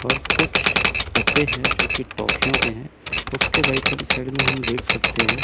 और कुछ डब्बे है जो कि टाफियों के है उसके राइट हैंड साइड में हम देख सकते है--